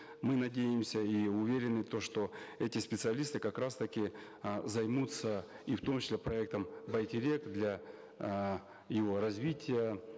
мы надеемся и уверены то что эти специалисты как раз таки э займутся и в том числе проектом байтерек для э его развития